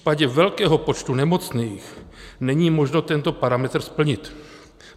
V případě velkého počtu nemocných, není možno tento parametr splnit.